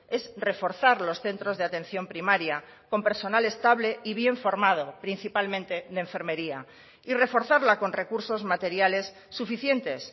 es reforzar los centros de atención primaria con personal estable y bien formado principalmente de enfermería y reforzarla con recursos materiales suficientes